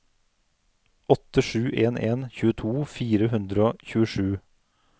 åtte sju en en tjueto fire hundre og tjuesju